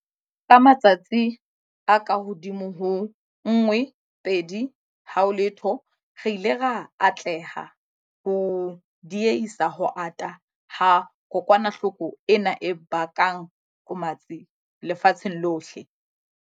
Ka matsatsi a kahodimo ho 120, re ile ra atleha ho die-hisa ho ata ha kokwanahloko ena e bakang qomatsi lefatsheng lohle.